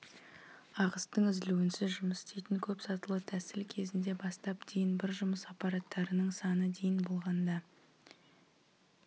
ағыстың үзілуінсіз жұмыс істейтін көп сатылы тәсіл кезінде бастап дейін бір жұмыс аппараттарының саны дейін болғанда